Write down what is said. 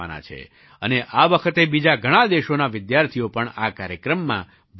અને આ વખતે બીજા ઘણા દેશોના વિદ્યાર્થીઓ પણ આ કાર્યક્રમમાં ભાગ લેશે